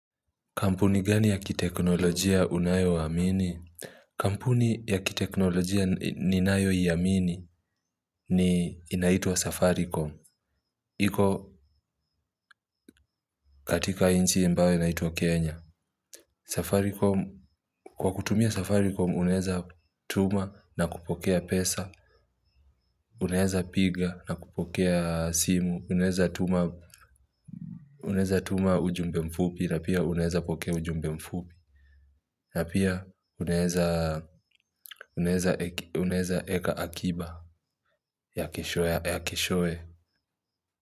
Kampuni gani ya kiteknolojia unayo amini? Kampuni ya kiteknolojia ninayo amini inaitwa Safaricom. Iko katika nchi ambayo inaitwa Kenya. Kwa kutumia Safaricom unaweza tuma na kupokea pesa, unaweza piga na kupokea simu, unaweza tuma ujumbe mfupi na pia unaweza pokea ujumbe mfupi. Na pia unaweza eka akiba ya keshoe.